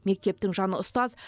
мектептің жаны ұстаз